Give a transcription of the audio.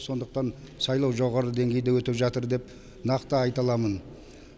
сондықтан сайлау жоғары деңгейде өтіп жатыр деп нақты айта аламын